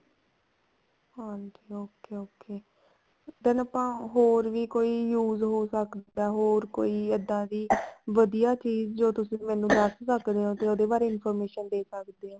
ਹਾਂਜੀ okay okay ਇਹਦਾ ਆਪਾਂ ਹੋਰ ਕੀ ਵੀ use ਹੋ ਸਕਦਾ ਹੋਰ ਕੋਈ ਇੱਦਾਂ ਵੀ ਵਧੀਆ ਚੀਜ਼ ਜੋ ਤੁਸੀਂ ਮੈਨੂੰ ਦੱਸ ਸਕਦੇ ਹੋ ਤੇ ਉਹਦੇ ਬਾਰੇ information ਦੇ ਸਕਦੇ ਹੋ